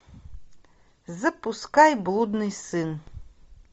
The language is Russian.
запускай блудный сын